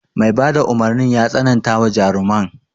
Mai bada umarnin ya tsanantawa jaruman.